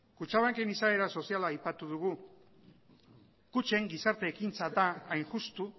kutxabanken izaera soziala aipatu dugu kutxen gizarte ekintza da hain justu